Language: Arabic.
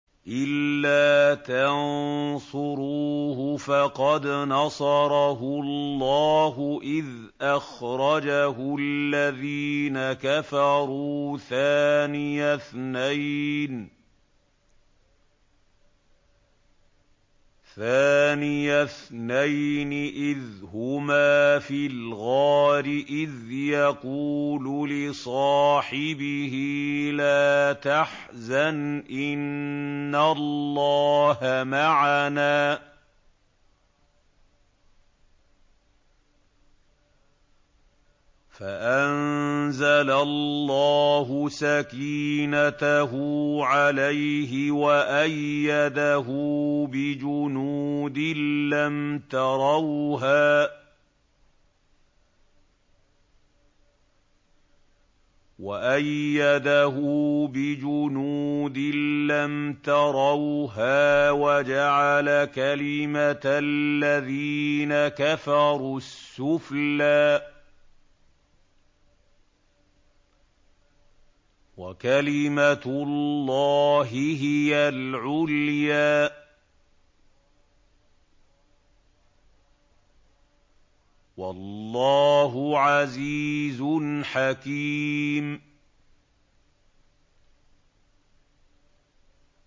إِلَّا تَنصُرُوهُ فَقَدْ نَصَرَهُ اللَّهُ إِذْ أَخْرَجَهُ الَّذِينَ كَفَرُوا ثَانِيَ اثْنَيْنِ إِذْ هُمَا فِي الْغَارِ إِذْ يَقُولُ لِصَاحِبِهِ لَا تَحْزَنْ إِنَّ اللَّهَ مَعَنَا ۖ فَأَنزَلَ اللَّهُ سَكِينَتَهُ عَلَيْهِ وَأَيَّدَهُ بِجُنُودٍ لَّمْ تَرَوْهَا وَجَعَلَ كَلِمَةَ الَّذِينَ كَفَرُوا السُّفْلَىٰ ۗ وَكَلِمَةُ اللَّهِ هِيَ الْعُلْيَا ۗ وَاللَّهُ عَزِيزٌ حَكِيمٌ